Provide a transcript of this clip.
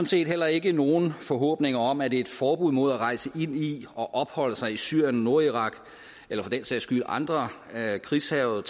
set heller ikke nogen forhåbninger om at et forbud mod at rejse ind i og opholde sig i syrien og nordirak eller for den sags skyld i andre krigshærgede